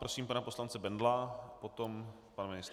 Prosím pana poslance Bendla, potom pan ministr.